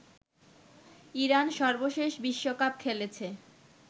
Iran সর্বশেষ বিশ্বকাপ খেলেছে